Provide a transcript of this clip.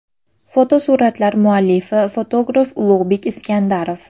Fotosuratlar muallifi fotograf Ulug‘bek Iskandarov.